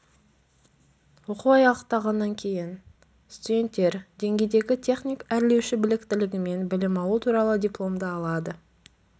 оқу аяқталғаннан кейін студенттер деңгейдегі техник-әрлеуші біліктілігімен білім алу туралы дипломды алады